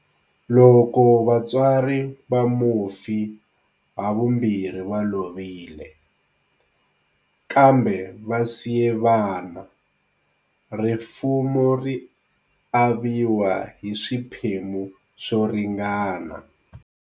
Loko vatswari va mufi havambirhi va lovile, kambe va siye vana, rifuwo ri aviwa hi swiphemu swo ringana.